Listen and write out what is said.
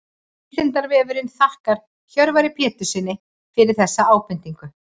Vísindavefurinn þakkar Hjörvari Péturssyni fyrir þessa ábendingu.